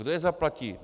Kdo je zaplatí?